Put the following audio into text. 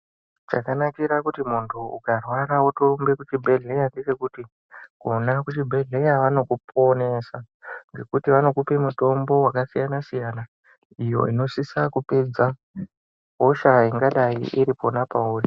Chakanakira kuti muntu ukarwara otorumbe kuchibhedhleya ngechekuti kona kuchibhedhleya vanokuponesa. Ngekuti vanokupe mutombo vakasiyana-siyana iyo inosisa kupedza hosha ingadai iri kupona pairi.